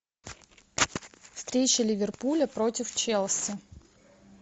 встреча ливерпуля против челси